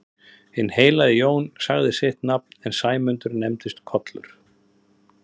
Hinn heilagi Jón sagði sitt nafn en Sæmundur nefndist Kollur.